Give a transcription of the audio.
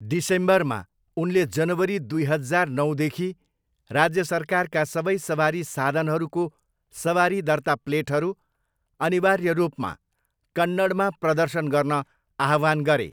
डिसेम्बरमा, उनले जनवरी दुई हजार नौदेखि राज्य सरकारका सबै सवारी साधनहरूको सवारी दर्ता प्लेटहरू अनिवार्य रूपमा कन्नडमा प्रदर्शन गर्न आह्वान गरे।